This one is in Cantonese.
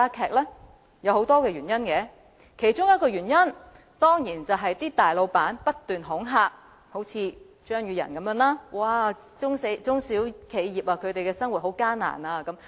當中有很多原因，而其中一個當然是大老闆不斷恐嚇，一如張宇人議員般，常說中小企業經營十分艱難。